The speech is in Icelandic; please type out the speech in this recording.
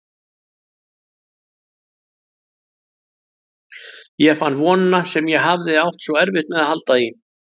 Ég fann vonina sem ég hafði átt svo erfitt með að halda í.